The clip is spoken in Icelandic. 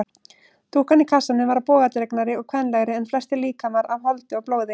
Dúkkan í kassanum var bogadregnari og kvenlegri en flestir líkamar af holdi og blóði.